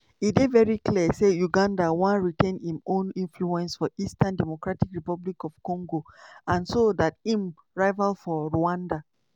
"e dey very clear say uganda wan retain im own influence for eastern dr congo and so dat im rival for rwanda